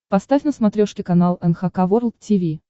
поставь на смотрешке канал эн эйч кей волд ти ви